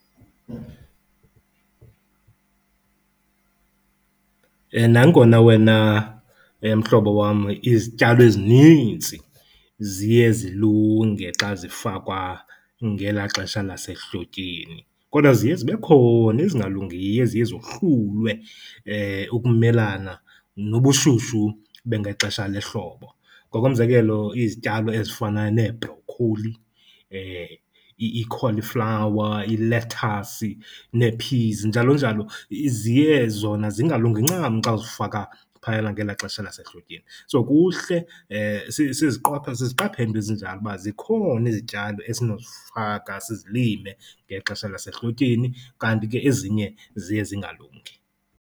Nangona wena mhlobo wam izityalo ezininzi ziye zilunge xa zifakwa ngelaa xesha lasehlotyeni kodw a ziye zibe khona ezingalungiyo eziye zohlulwe ukumelana nobushushu bangexesha lehlobo. Ngokomzekelo, izityalo ezifana nee-broccoli, i-cauliflower, i-lettuce nee-peas njalonjalo, ziye zona zingalungi ncam xa uzifaka phayana ngelaa xesha lasehlotyeni. So, kuhle siziqaphele iinto ezinjalo uba zikhona izityalo esinozifaka sizilime ngexesha lasehlotyeni kanti ke ezinye ziye zingalungi.